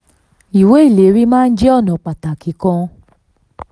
38. ìwé ìlérí maa ń jẹ́ ọ̀nà pàtàkì kan.